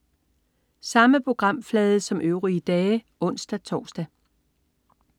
Samme programflade som øvrige dage (ons-tors)